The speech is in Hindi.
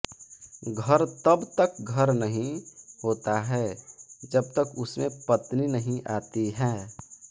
घर तब तक घर नहीं होता है जब तक उसमें पत्नी नहीं आती हैं